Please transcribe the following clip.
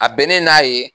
A bɛnnen n'a ye